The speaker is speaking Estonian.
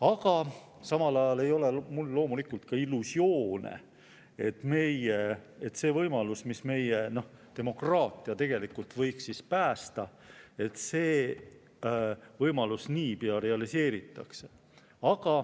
Aga samal ajal ei ole mul loomulikult illusioone, nagu seda võimalust, mis meie demokraatia tegelikult võiks päästa, niipea realiseeritaks.